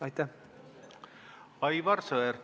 Aivar Sõerd, palun!